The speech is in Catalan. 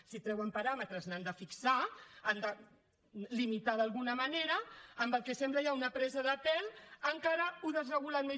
si treuen paràmetres n’han de fixar han de limitar d’alguna manera amb el que sembla ja una presa de pèl encara ho desregulen més